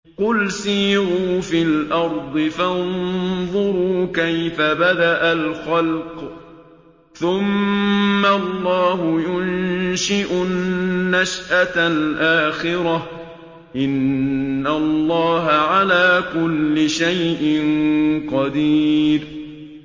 قُلْ سِيرُوا فِي الْأَرْضِ فَانظُرُوا كَيْفَ بَدَأَ الْخَلْقَ ۚ ثُمَّ اللَّهُ يُنشِئُ النَّشْأَةَ الْآخِرَةَ ۚ إِنَّ اللَّهَ عَلَىٰ كُلِّ شَيْءٍ قَدِيرٌ